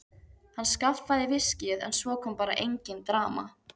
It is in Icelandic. Hann skaffaði viskíið en svo kom bara engin dama.